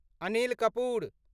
Anil Kapoor